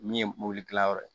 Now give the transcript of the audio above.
Min ye mobili kilayɔrɔ ye